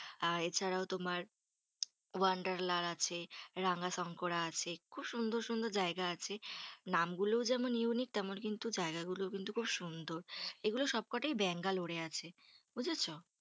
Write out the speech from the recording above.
আ এছাড়াও তোমার ওয়ান্ডারলার আছে, রামশংকরা আছে। খুব সুন্দর সুন্দর জায়গা আছে। নামগুলোও যেমন unique তেমন কিন্তু জায়গাগুলোও কিন্তু খুব সুন্দর। এগুলো সবকটাই ব্যাঙ্গালোরে আছে। বুঝেছো?